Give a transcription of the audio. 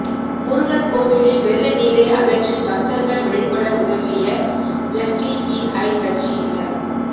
முருகன் கோவிலில் வெள்ள நீரை அகற்றி பக்தர்கள் வழிபட உதவிய எஸ்டிபிஐ கட்சியினர்